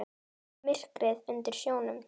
Myrkrið undir sjónum.